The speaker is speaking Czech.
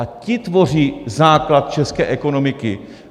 A ti tvoří základ české ekonomiky.